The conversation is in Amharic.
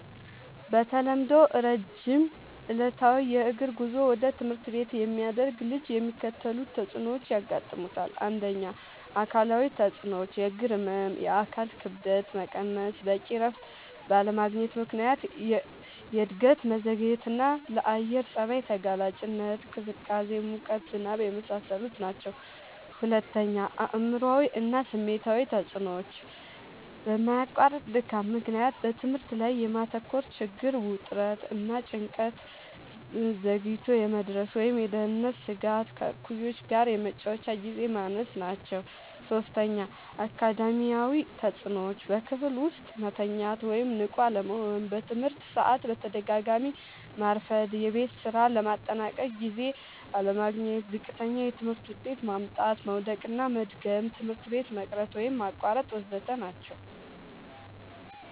በተለምዶ ረጅም ዕለታዊ የእግር ጉዞ ወደ ትምህርት ቤት የሚያደርግ ልጅ የሚከተሉት ተጽዕኖዎች ያጋጥሙታል። ፩. አካላዊ ተጽዕኖዎች፦ · የእግር ህመም፣ የአካል ክብደት መቀነስ፣ በቂ እረፍት ባለማግኘት ምክንያት የእድገት መዘግየትና፣ ለአየር ጸባይ ተጋላጭነት (ቅዝቃዜ፣ ሙቀት፣ ዝናብ) የመሳሰሉት ናቸዉ። ፪. አእምሯዊ እና ስሜታዊ ተጽዕኖዎች፦ በማያቋርጥ ድካም ምክንያት በትምህርት ላይ የማተኮር ችግር፣ ውጥረት እና ጭንቀት፣ ዘግይቶ የመድረስ ወይም የደህንነት ስጋት፣ ከእኩዮች ጋር የመጫወቻ ግዜ ማነስ ናቸዉ። ፫. አካዳሚያዊ ተጽዕኖዎች፦ · በክፍል ውስጥ መተኛት ወይም ንቁ አለመሆን፣ በትምህርት ሰዓት በተደጋጋሚ ማርፈድ፣ የቤት ስራ ለማጠናቀቅ ጊዜ አለማግኘት፣ ዝቅተኛ የትምህርት ውጤት ማምጣት፣ መዉደቅና መድገም፣ ትምህርት ቤት መቅረት ወይም ማቋረጥ ወ.ዘ.ተ ናቸዉ።